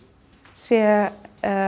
sé